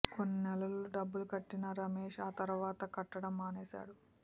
కొన్ని నెలలు డబ్బులు కట్టినా రమేశ్ ఆ తర్వాత కట్టడం మానేశాడు